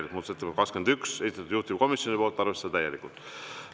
Muudatusettepanek nr 21, esitanud juhtivkomisjon, arvestada täielikult.